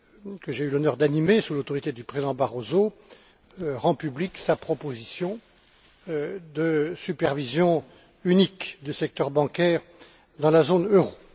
que j'ai eu l'honneur d'animer sous l'autorité du Président Barroso, rend publique sa proposition de supervision unique du secteur bancaire dans la zone euro.